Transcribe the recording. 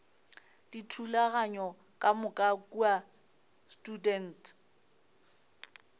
dithulaganyo ka moka kua students